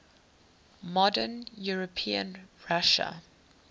modern european russia